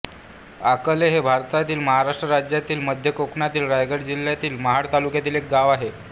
आकले हे भारतातील महाराष्ट्र राज्यातील मध्य कोकणातील रायगड जिल्ह्यातील महाड तालुक्यातील एक गाव आहे